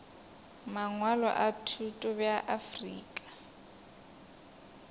mangwalo a thuto bja afrika